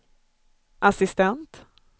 assistent